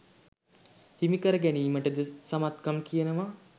හිමි කර ගැනීමට ද සමත්කම් කියනවා